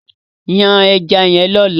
Yan ẹja yẹn lọ́la!